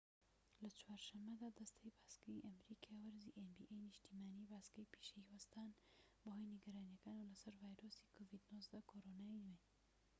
لە چوار شەمەدا دەستەی باسکەی نیشتیمانی nba ی ئەمریکا وەرزی باسکەی پیشەیی وەستان بەهۆی نیگەرانیەکانەوە لەسەر ڤایرۆسی کۆرۆنای نوێ-covid-19